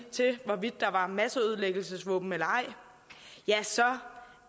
til hvorvidt der var masseødelæggelsesvåben eller ej så